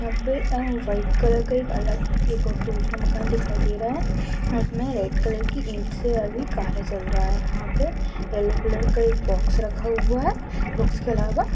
यहाँ पे अअअ व्हाइट कलर का एक अलग एक या दूसरा मकान दिखाई दे रहा है उसमें रेड कलर की इट से अभी कार्य चल रहा है यहाँ पे येलो कलर का एक बॉक्स रखा हुआ है बॉक्स के अलावा--